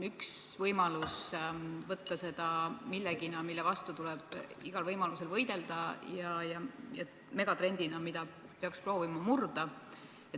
Üks võimalus on võtta seda millenagi, mille vastu tuleb igal võimalusel võidelda, ja megatrendid on need, mida peaks proovima murda.